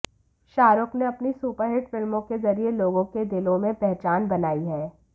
शाहरुख मे अपनी सुपरहिट फिल्मों के जरिए लोगों के दिलों में पहचान बनाई है